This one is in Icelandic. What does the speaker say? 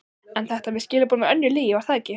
En þetta með skilaboðin var önnur lygi, var það ekki?